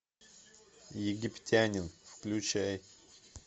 египтянин включай